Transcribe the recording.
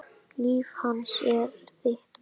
Líf hans er þitt.